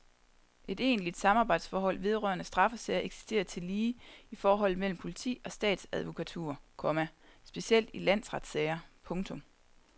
Et egentligt samarbejdsforhold vedrørende straffesager eksisterer tillige i forholdet mellem politi og statsadvokatur, komma specielt i landsretssager. punktum